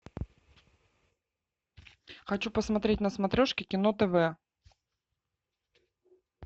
хочу посмотреть на смотрешке кино тв